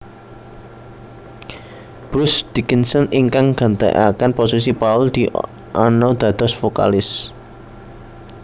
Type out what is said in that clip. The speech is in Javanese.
Bruce Dickinson ingkang gantekaken posisi Paul Di Anno dados vokalis